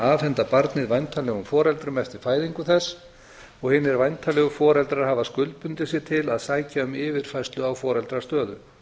afhenda barnið væntanlegum foreldrum eftir fæðingu þess og hinir væntanlegu foreldrar hafa skuldbundið sig til að sækja um yfirfærslu á foreldrastöðu